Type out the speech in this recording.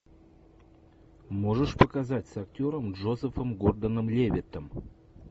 можешь показать с актером джозефом гордоном левитом